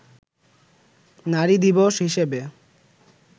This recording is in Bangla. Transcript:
নারী দিবস হিসেবে